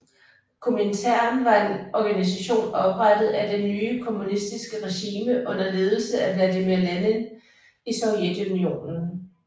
Komintern var en organisation oprettet af det nye kommunistiske regime under ledelse af Vladimir Lenin i Sovjetunionen